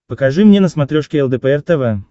покажи мне на смотрешке лдпр тв